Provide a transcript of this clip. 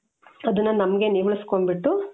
ಅದುನ್ನ ನಮ್ಗೆ ನೀವಳಿಸಿಕೊಂಡ್ಬಿಟ್ಟು.